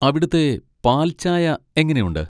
അവിടുത്തെ പാൽചായ എങ്ങനെയുണ്ട്?